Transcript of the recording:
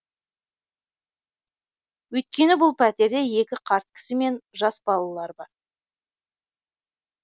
өйткені бұл пәтерде екі қарт кісі мен жас балалар бар